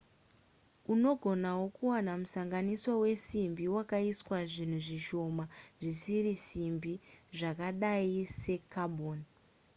unogonawo kuwana musanganiswa wesimbi wakaiswa zvinhu zvishoma zvisiri simbi zvakadai secarbon